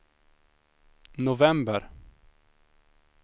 november